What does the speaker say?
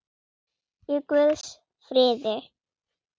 Í guðs friði.